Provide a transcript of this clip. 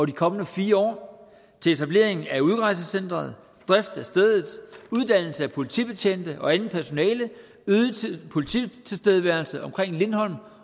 de kommende fire år til etablering af udrejsecenteret drift af stedet uddannelse af politibetjente og andet personale øget polititilstedeværelse omkring lindholm